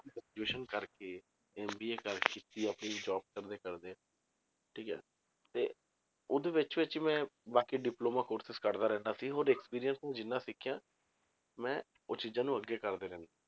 Graduation ਕਰਕੇ MBA ਕਰ ਕੀਤੀ ਆਪਣੀ job ਕਰਦੇ ਕਰਦੇ ਠੀਕ ਹੈ ਤੇ ਉਹਦੇ ਵਿੱਚ ਵਿੱਚ ਮੈਂ ਬਾਕੀ diploma courses ਕਰਦਾ ਰਹਿੰਦਾ ਸੀ ਹੋਰ experience ਨੂੰ ਜਿੰਨਾ ਸਿੱਖਿਆ ਮੈਂ ਉਹ ਚੀਜ਼ਾਂ ਨੂੰ ਅੱਗੇ ਕਰਦਾ ਰਹਿੰਦਾ।